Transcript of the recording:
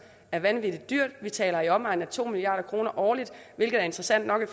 er vanvittig dyrt vi taler om i omegnen af to milliard kroner årligt hvilket er interessant nok i